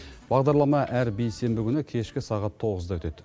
бағдарлама әр бейсенбі күні кешкі сағат тоғызда өтеді